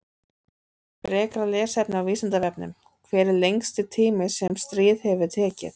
Frekara lesefni á Vísindavefnum: Hver er lengsti tími sem stríð hefur tekið?